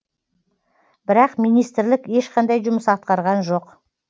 бірақ министрлік ешқандай жұмыс атқарған жоқ